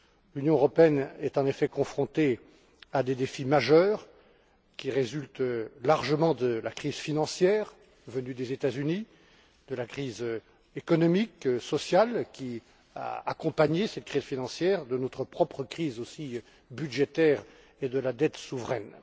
L'Union européenne est en effet confrontée à des défis majeurs qui résultent largement de la crise financière venue des États Unis, de la crise économique et sociale qui a accompagné cette crise financière, tout comme notre propre crise budgétaire et de la dette souveraine.